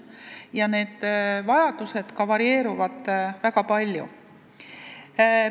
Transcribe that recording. Ka need vajadused varieeruvad väga palju.